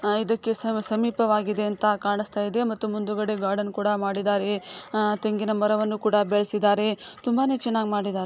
ಆ ಇದಕ್ಕೆ ಸಮೀಪವಾಗಿದೆ ಅಂತ ಕಾಣಿಸ್ತಾ ಇದೆ ಮತ್ತು ಮುಂದುಗಡೆ ಗಾರ್ಡನ್ ಕೂಡ ಮಾಡಿದರೆ ಆಹ್ಹ್ ತೆಂಗಿನ ಮರ ಕೂಡ ಬೆಳ್ಸಿದಾರೆ ತುಂಬಾನೇ ಚೆನ್ನಾಗಿ ಮಾಡಿದರೆ--